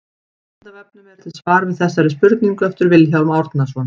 Á Vísindavefnum er til svar við þessari spurningu eftir Vilhjálm Árnason.